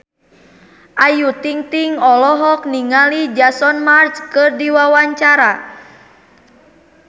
Ayu Ting-ting olohok ningali Jason Mraz keur diwawancara